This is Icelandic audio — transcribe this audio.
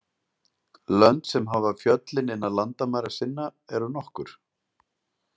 Lönd sem hafa fjöllin innan landamæra sinna eru nokkur.